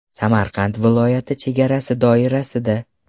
Samarqand viloyati chegarasi doirasida.